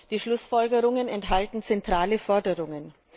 Die Schlussfolgerungen enthalten zentrale Forderungen.